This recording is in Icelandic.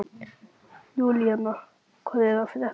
Júlína, hvað er að frétta?